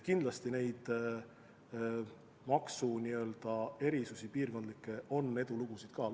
Kindlasti piirkondlikke maksuerisusi ja edulugusid on veel.